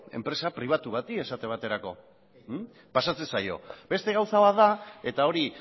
enpresa pribatu bati esate baterako pasatzen zaio beste gauza bat da eta hori